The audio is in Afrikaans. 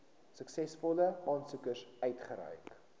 suksesvolle aansoekers uitgereik